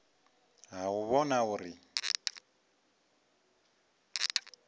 ha u u vhona uri